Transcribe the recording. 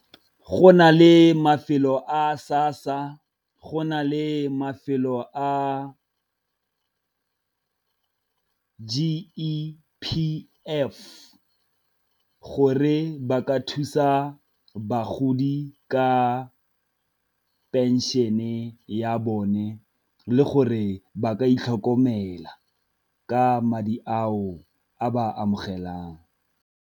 Go na le mafelo a SASSA go na le mafelo a G_E_P_F gore ba ka thusa bagodi ka pension-e ya bone, le gore ba ka itlhokomela ka madi ao a ba amogelang.